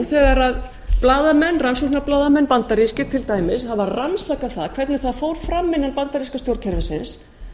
þegar rannsóknarblaðamanna bandarískir til dæmis hafa rannsakað það hvernig það fór fram innan bandaríska stjórnkerfisins